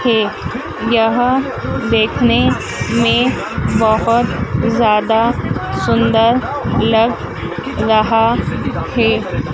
है यह देखने में बहोत ज़्यादा सुंदर लग रहा है।